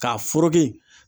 K'a foreke